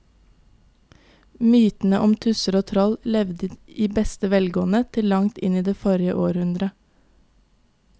Mytene om tusser og troll levde i beste velgående til langt inn i forrige århundre.